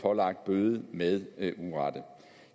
pålagt bøde med urette